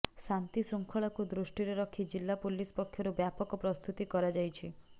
ଶାନ୍ତି ଶୃଙ୍ଖଳାକୁ ଦୃଷ୍ଟିରେ ରଖି ଜିଲ୍ଲା ପୁଲିସ୍ ପକ୍ଷରୁ ବ୍ୟାପକ ପ୍ରସ୍ତୁତି କରାଯାଇଛି